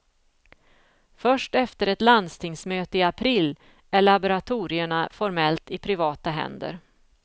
Först efter ett landstingsmöte i april är laboratorierna formellt i privata händer.